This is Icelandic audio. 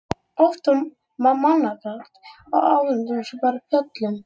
Oft var mannmargt á áheyrendapöllunum.